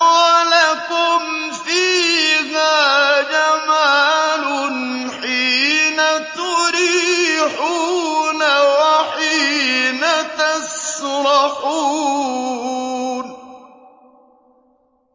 وَلَكُمْ فِيهَا جَمَالٌ حِينَ تُرِيحُونَ وَحِينَ تَسْرَحُونَ